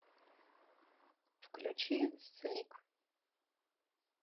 включи слик